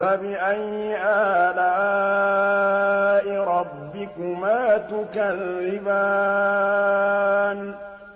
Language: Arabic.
فَبِأَيِّ آلَاءِ رَبِّكُمَا تُكَذِّبَانِ